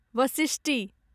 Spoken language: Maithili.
वशिष्टि